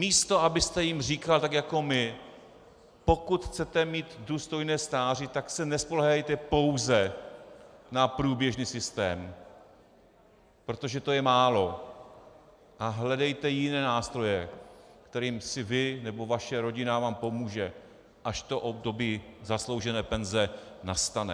Místo abyste jim říkal tak jako my: pokud chcete mít důstojné stáří, tak se nespoléhejte pouze na průběžný systém, protože to je málo, a hledejte jiné nástroje, kterými si vy nebo vaše rodina vám pomůže, až to období zasloužené penze nastane.